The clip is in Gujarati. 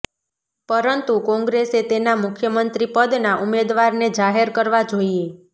પરંતુ કોંગ્રેસે તેના મુખ્યમંત્રી પદનાં ઉમેદવારને જાહેર કરવા જોઇએ